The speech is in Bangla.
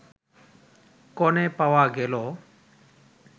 কনে পাওয়া গেল